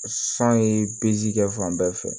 San ye kɛ fan bɛɛ fɛ